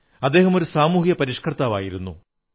അദ്ദേഹമൊരു സാമൂഹിക പരിഷ്കർത്താവായിരുന്നു